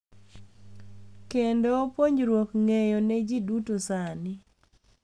Kendo puonjruok ng’eyo ne ji duto sani.